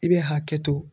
I bɛ hakɛ to